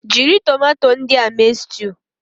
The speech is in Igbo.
Jiri tomato ndị a mee stew